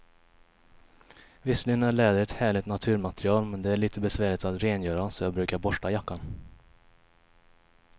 Visserligen är läder ett härligt naturmaterial, men det är lite besvärligt att rengöra, så jag brukar borsta jackan.